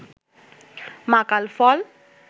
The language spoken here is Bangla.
মাকাল ফল